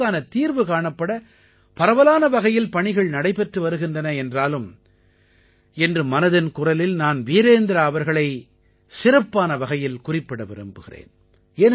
இதற்கான தீர்வு காணப்பட பரவலான வகையில் பணிகள் நடைபெற்று வருகின்றன என்றாலும் இன்று மனதின் குரலில் நான் வீரேந்த்ரா அவர்களை சிறப்பான வகையில் குறிப்பிட விரும்புகிறேன்